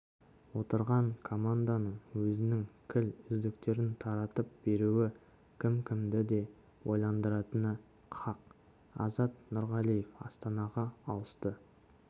отырған команданың өзінің кіл үздіктерін таратып беруі кім-кімді де ойландыратыны хақ азат нұрғалиев астанаға ауысты